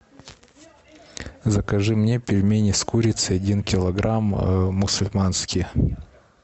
закажи мне пельмени с курицей один килограмм мусульманские